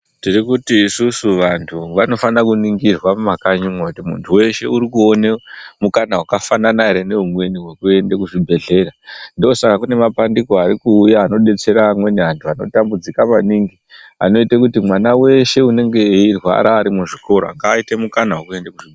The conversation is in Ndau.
Tirimuti isusu vantu vanofana kuningirwa mumakanyimwo kuti muntu weshe urikuone mukana wakafanana ere neumweni wekuende kuzvibhehlera ndosaka kune mabandiko arikuuya anodetsere amweni antu anotambudzika maningi anoite kuti mwana weshe unenge eirwara Ari muzvikora ngaite mukana wekuende ku.